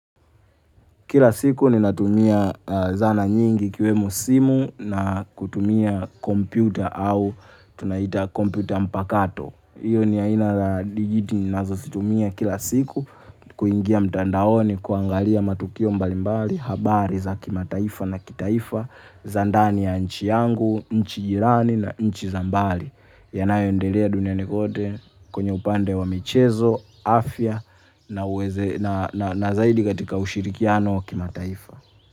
Kila siku ninatumia zana nyingi ikiwemo simu na kutumia kompyuta au tunaita kompyuta mpakato. Iyo ni aina la digiti ninazozitumia kila siku kuingia mtandaoni kuangalia matukio mbalimbali habari zakimataifa na kitaifa za ndani ya nchi yangu, nchi jirani na nchi za mbali. Yanayoendelea duniani kote kwenye upande wa michezo, afya na zaidi katika ushirikiano kimataifa.